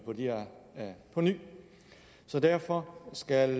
her på ny derfor skal